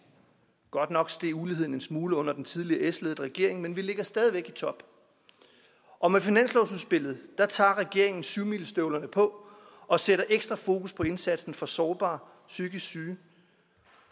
godt nok steg uligheden en smule under den tidligere s ledede regering men vi ligger stadig væk i top og med finanslovsudspillet tager regeringen syvmilestøvlerne på og sætter ekstra fokus på indsatsen for sårbare psykisk syge